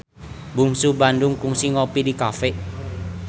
Bungsu Bandung kungsi ngopi di cafe